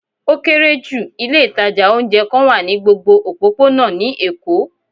O kere ju, ilé itaja oúnjẹ kan wa ni gbógbó ọpopona ni Èko